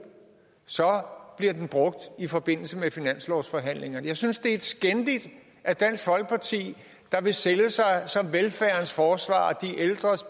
så bliver den brugt i forbindelse med finanslovsforhandlingerne jeg synes det er skændigt at dansk folkeparti der vil sælge sig som velfærdens forsvarer og de ældres